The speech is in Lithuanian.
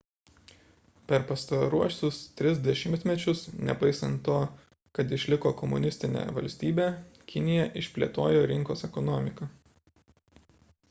per pastaruosius tris dešimtmečius nepaisant to kad išliko komunistine valstybe kinija išplėtojo rinkos ekonomiką